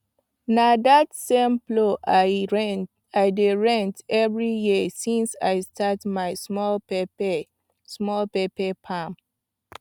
na that same plow i dey rent every year since i start my small pepper small pepper farm